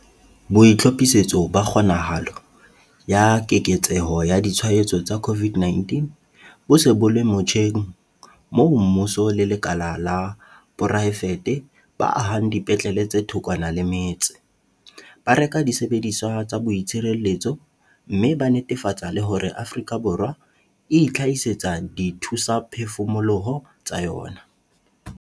BOITLHOPHISETSO BA KGONAHALO ya keketseho ya ditshwaetso tsa COVID-19 bo se bo le motjheng moo mmuso le lekala la poraefete ba ahang dipetlele tse thokwana le metse, ba reka disebediswa tsa boitshireletso mme ba netefatsa le hore Afrika Borwa e itlhahisetsa dithusaphefumoloho tsa yona.